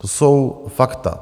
To jsou fakta.